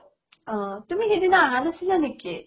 অ, তুমি সেইদিনা আহা নাছিলা নেকি ?